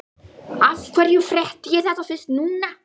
Af hverju frétti ég þetta fyrst núna?